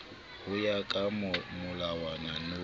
ho ya ka molawana no